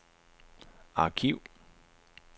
arkiv